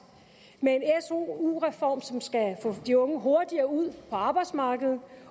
med en su reform som skal få de unge hurtigere ud på arbejdsmarkedet